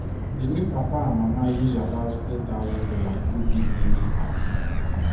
the new papa and mama use about three thousand dollars do big naming party